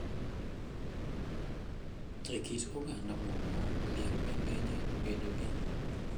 E kit oganda moko, liel bende nyalo bedo gi ,